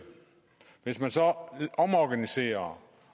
hvis man omorganiserer